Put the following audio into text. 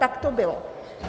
Tak to bylo.